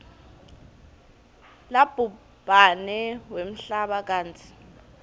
labhubhane wemhlaba kantsi